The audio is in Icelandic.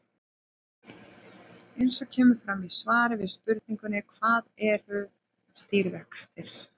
Eins og kemur fram í svari við spurningunni Hvað eru stýrivextir?